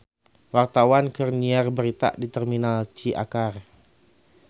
Wartawan keur nyiar berita di Terminal Ciakar